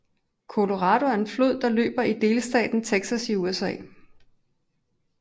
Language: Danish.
Colorado er en flod der løber i delstaten Texas i USA